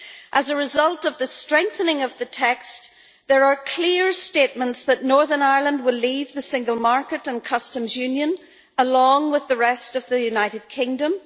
As a result of the strengthening of the text, there are clear statements that Northern Ireland will leave the single market and Customs Union along with the rest of the United Kingdom.